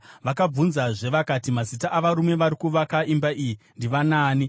Vakabvunzazve vakati, “Mazita avarume vari kuvaka imba iyi ndivanaani?”